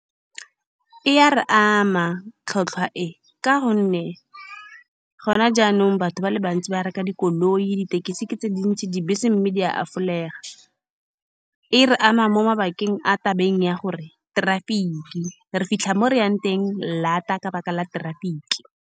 E a re ama tlhwatlhwa, e ka gonne gone jaanong batho ba le bantsi ba reka dikoloi, dithekisi ke tse dintsi, dibese mme di a . E re ama mo mabakeng a tabeng ya gore traffic-i, re fitlha mo re yang teng laat-a ka lebaka la traffic-i.